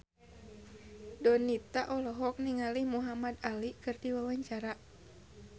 Donita olohok ningali Muhamad Ali keur diwawancara